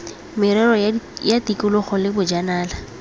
merero ya tikologo le bojanala